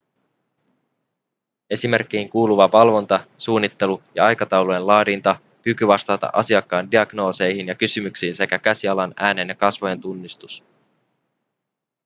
esimerkkeihin kuuluvat valvonta suunnittelu ja aikataulujen laadinta kyky vastata asiakkaan diagnooseihin ja kysymyksiin sekä käsialan äänen ja kasvojen tunnistus